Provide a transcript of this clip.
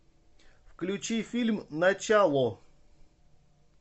включи фильм начало